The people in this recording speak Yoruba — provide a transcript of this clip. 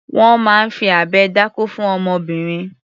Wọ́n máa ń fi abẹ dákó fún ọmọbìnrin.